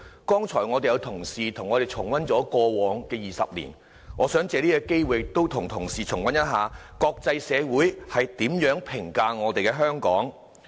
剛才有同事和我們重溫了過往20年，我想藉此機會和同事重溫一下國際社會如何評價香港。